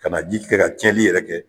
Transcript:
Ka na ji kɛ ka tiɲɛni yɛrɛ kɛ .